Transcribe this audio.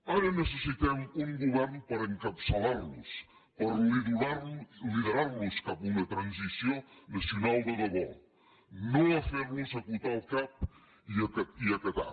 ara necessitem un govern per encapçalar los per liderar los cap a una transició nacional de debò no a fer los acotar el cap i a acatar